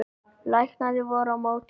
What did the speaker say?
Læknarnir voru á móti mér